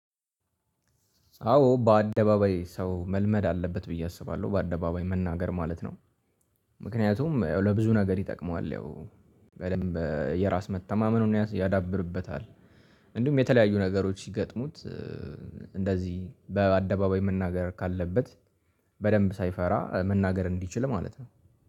አዎ በአደባባይ ሰው መልመድ አለበት ብዬ አስባለሁ በአደባባይ መናገር ማለት ነው። ምክንያቱም ለብዙ ነገር ይጠቅመዋል ያው በደንብ የራስ መተማመኑን ያዳብርበታል። እንዲሁም የተለያዩ ነገሮች ሲገጥሙት። እንደዚህ በአደባባይ መናገር ካለበት በደንብ ሳይፈራ መናገር እንዲችል ማለት ነው